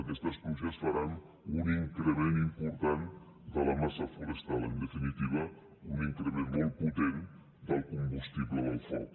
aquestes pluges faran un increment important de la massa forestal en definitiva un increment molt potent del combustible del foc